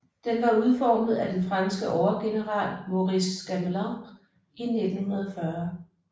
Den var udformet af den franske overgeneral Maurice Gamelin i 1940